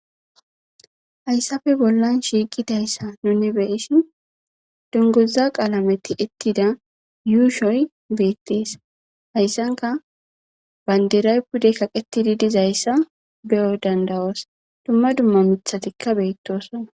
hayssafe bollan shiiqidayssa nune be'shin dunguza qaalamey tiyettida yuushoy beettees hayssanka banderay pude kaqetidi dizayssa be'o danda'oos dumma dumma mithatikka beettosona